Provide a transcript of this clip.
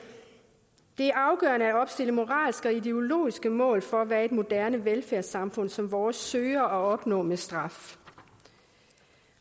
det er moralske og ideologiske mål for hvad et moderne velfærdssamfund som vores søger at opnå med straf